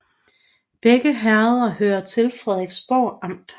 Begge herreder hørte til Frederiksborg Amt